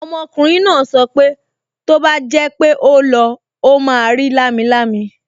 Ọmọkùnrin náà sọ pé tó bá jẹ́ pé ó lọ, ó máa rí lámilámi